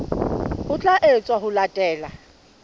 ho tla etswa ho latela